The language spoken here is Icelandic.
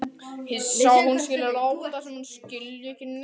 Hissa að hún skuli láta sem hún skilji ekki neitt.